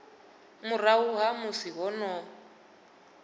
murahu ha musi ho no